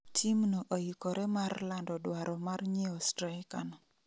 Team no oikore mar lando dwaro mar nyieo straika no